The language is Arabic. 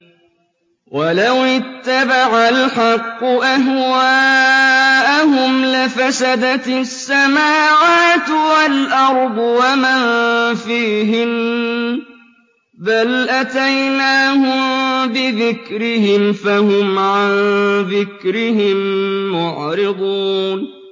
وَلَوِ اتَّبَعَ الْحَقُّ أَهْوَاءَهُمْ لَفَسَدَتِ السَّمَاوَاتُ وَالْأَرْضُ وَمَن فِيهِنَّ ۚ بَلْ أَتَيْنَاهُم بِذِكْرِهِمْ فَهُمْ عَن ذِكْرِهِم مُّعْرِضُونَ